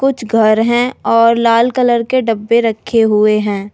कुछ घर हैं और लाल कलर के डब्बे रखे हुए हैं।